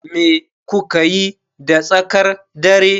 Me kuka yi da tsakar dare?